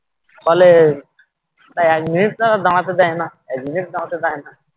ফলে এক minute তারা দাঁড়াতে দেয় না এক minute দাঁড়াতে দেয় না